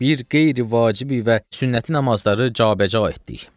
Bir qeyri-vacibi və sünnəti namazları cabəca etdik.